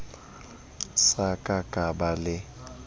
sa ka ka ba le